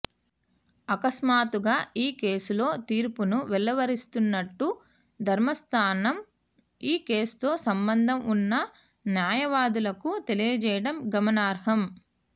అకస్మాత్తుగా ఈ కేసులో తీర్పును వెలువరిస్తున్నట్లు ధర్మాసనం ఈ కేసుతో సంబంధం ఉన్న న్యాయవాదులకు తెలియజేయటం గమనార్హం